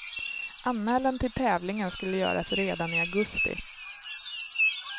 Anmälan till tävlingen skulle göras redan i augusti.